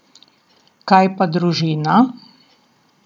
Kaj pa družina?